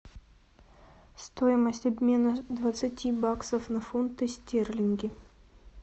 стоимость обмена двадцати баксов на фунты стерлинги